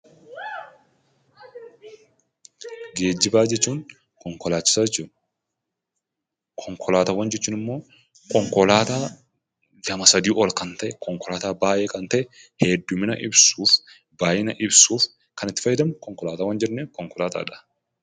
Geejibaa jechuun, konkolaachisaa jechuudha. Konkolaataawwan jechuun immoo konkolaataa lama sadii ol kan ta'e, konkolaataa baayyee heddumina ibsuuf, baayyina ibsuuf kan itti fayyadamnu konkolaataawwan jenna.